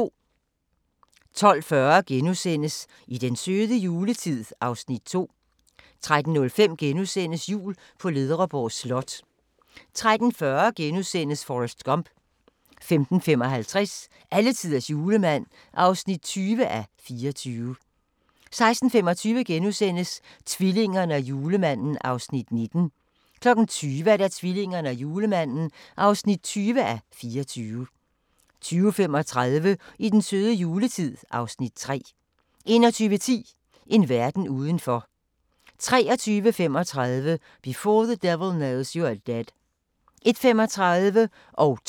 12:40: I den søde juletid (Afs. 2)* 13:05: Jul på Ledreborg Slot * 13:40: Forrest Gump * 15:55: Alletiders julemand (20:24) 16:25: Tvillingerne og julemanden (19:24)* 20:00: Tvillingerne og julemanden (20:24) 20:35: I den søde juletid (Afs. 3) 21:10: En verden udenfor 23:35: Before the Devil Knows You're Dead 01:35: Now That's Funny